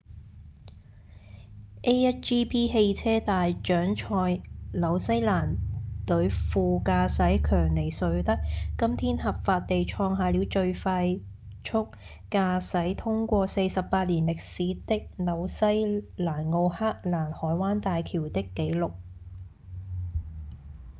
a1gp 汽車大獎賽紐西蘭隊副駕駛強尼瑞德今天合法地創下了最快速駕駛通過48年歷史的紐西蘭奧克蘭海灣大橋的紀錄